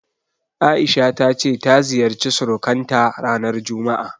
A'isha ta ce ta ziyarci surukanta ranar juma'a.